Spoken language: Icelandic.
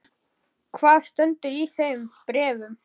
Og hvað stendur í þeim bréfum?